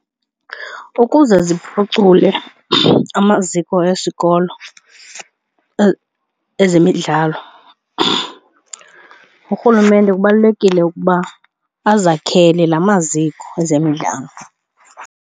Ukuze ziphucule amaziko esikolo ezemidlalo urhulumente kubalulekile ukuba azakhele la maziko ezemidlalo.